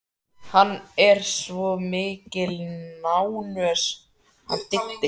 Hann er svo mikil nánös hann Diddi.